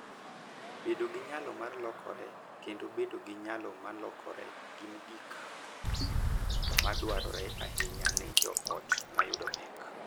Bedo gi nyalo mar lokore kendo bedo gi nyalo mar lokore gin kido ma dwarore ahinya ne joot ma yudo pek.